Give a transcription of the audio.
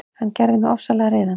Hann gerði mig ofsalega reiðan.